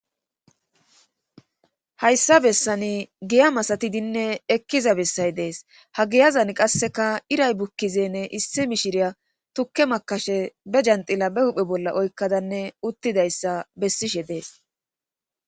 hayssa bessani giya masatidinne ekkiza bessay dees ha giyazan qasseka iray bukkizenne issi mishiriya tukke makashe be janxila be huphe bolla oykkadanne uttidayssa bessishe dees